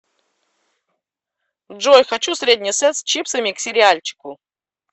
джой хочу средний сет с чипсами к сериальчику